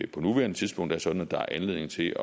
på nuværende tidspunkt er sådan at der er anledning til